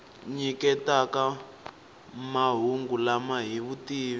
nyiketaka mahungu lama hi vutivi